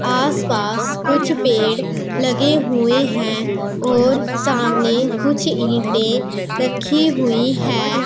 आस पास कुछ पेड़ लगे हुए हैं और सामने कुछ ईंटें रखी हुई है।